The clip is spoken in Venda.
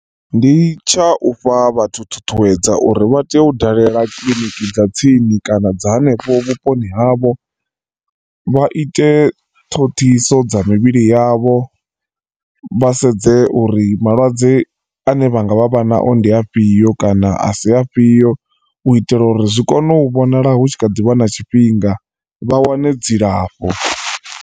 Ndi tsha ufha vhathu ṱhuṱhuwedzo uri vha tea u dalela kiḽiniki dza tsini kana dza hanefho vhuponi havho vha ite ṱhoḓisiso dza mivhili yavho vha sedze uri malwadze ane vha nga vha vha nao ndi afhio kana asi afhio u itela uri zwi kone u vhonala hu tshi kha ḓi vha na tshifhinga vha wane dzilafho.